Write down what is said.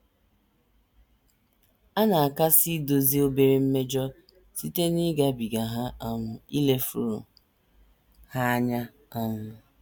A na - akasị edozi obere mmejọ site n’ịgabiga ha um, ilefuru ha anya. um